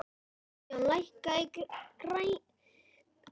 Sigjón, lækkaðu í græjunum.